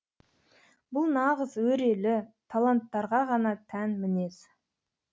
бұл нағыз өрелі таланттарға ғана тән мінез